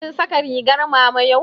Kin saka ringar mama yau?